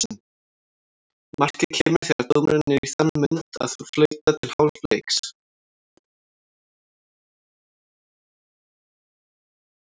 Markið kemur þegar dómarinn er í þann mund að flauta til hálfleiks.